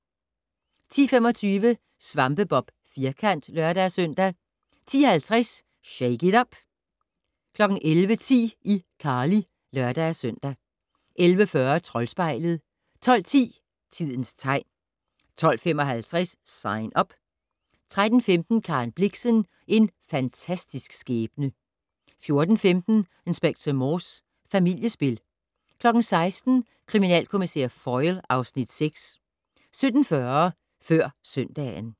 10:25: SvampeBob Firkant (lør-søn) 10:50: Shake it up! 11:10: iCarly (lør-søn) 11:40: Troldspejlet 12:10: Tidens tegn 12:55: Sign Up 13:15: Karen Blixen - En fantastisk skæbne 14:15: Inspector Morse: Familiespil 16:00: Kriminalkommissær Foyle (Afs. 6) 17:40: Før søndagen